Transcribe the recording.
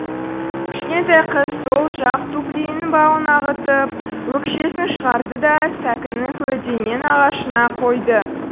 кішкентай қыз сол жақ туфлиінің бауын ағытып өкшесін шығарды да сәкінің көлденең ағашына қойды